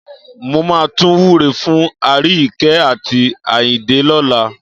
Mo máa tún wúre fún Aríyìíkẹ́ àti Àyìndé lọ́la.